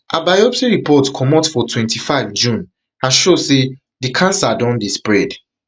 her biopsy report comot for twenty-five june and show say di cancer don dey spread